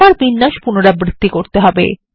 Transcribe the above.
আবার বিন্যাস পুনরাবৃত্তি করতে হবে